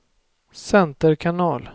center kanal